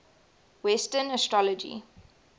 western astrology